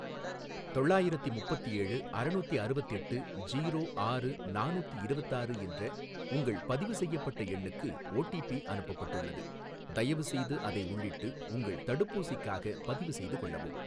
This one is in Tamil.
தொள்ளாயிரத்தி முப்பத்தேழு ,அறநூத்திஅறுவத்தெட்டு ஜீரோ ஆறு நானூத்தி இரவத்தாறு என்ற உங்கள் பதிவு செய்யப்பட்ட எண்ணுக்கு ஓடிபி அனுப்பப்பட்டுள்ளது, தயவுசெய்து அதை உள்ளிட்டு உங்கள் தடுப்பூசிக்காகப் பதிவுசெய்து கொள்ளவும்